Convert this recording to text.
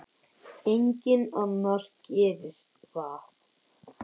Enginn annar gerir það.